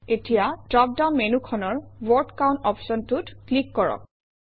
এতিয়া drop down মেনুখনৰ word count অপশ্যনটোত ক্লিক কৰক